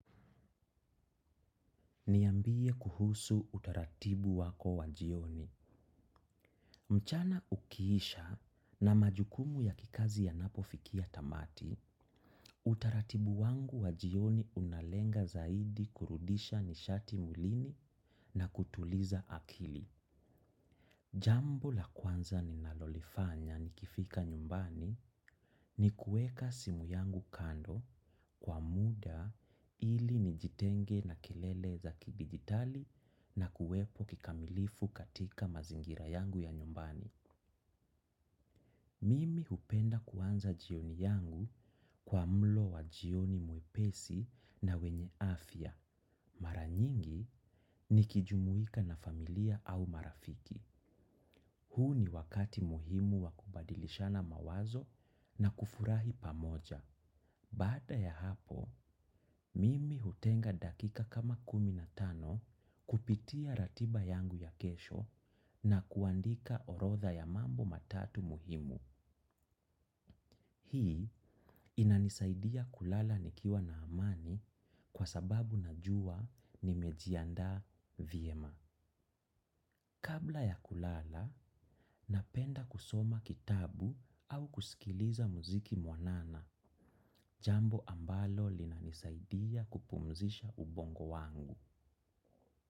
Niambie kuhusu utaratibu wako wa jioni. Mchana ukiisha na majukumu ya kikazi yanapofikia tamati, utaratibu wangu wa jioni unalenga zaidi kurudisha nishati mwilini na kutuliza akili. Jambo la kwanza ninalolifanya nikifika nyumbani, ni kuweka simu yangu kando kwa muda ili nijitenge na kelele za kidigitali na kuwepo kikamilifu katika mazingira yangu ya nyumbani. Mimi hupenda kuanza jioni yangu, kwa mlo wa jioni mwepesi na wenye afya. Mara nyingi, nikijumuika na familia au marafiki. Huu ni wakati muhimu wa kubadilishana mawazo, na kufurahi pamoja. Baada ya hapo, mimi hutenga dakika kama kumi na tano, kupitia ratiba yangu ya kesho, na kuandika orodha ya mambo matatu muhimu. Hii, inanisaidia kulala nikiwa na amani. Kwa sababu najua nimejiandaa vyema. Kabla ya kulala, napenda kusoma kitabu au kusikiliza muziki mwanana, jambo ambalo linanisaidia kupumzisha ubongo wangu.